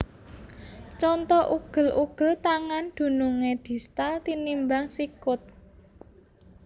Conto Ugel ugel tangan dunungé distal tinimbang sikut